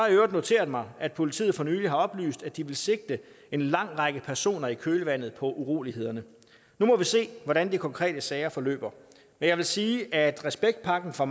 i øvrigt noteret mig at politiet for nylig har oplyst at de vil sigte en lang række personer i kølvandet på urolighederne nu må vi se hvordan de konkrete sager forløber men jeg vil sige at respektpakken fra